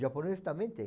Japonês também tem.